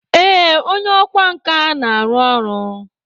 Ee, onye ọkwá nkà na-arụ ọrụ.